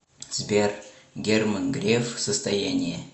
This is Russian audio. сбер герман греф состояние